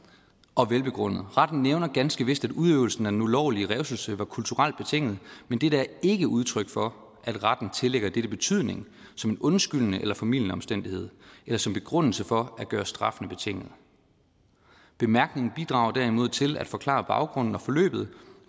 og velbegrundet retten nævner ganske vist at udøvelsen af den ulovlige revselse var kulturelt betinget men dette er ikke udtryk for at retten tillægger dette betydning som en undskyldende eller formildende omstændighed eller som begrundelse for at gøre straffene betinget bemærkningen bidrager derimod til at forklare baggrunden og forløbet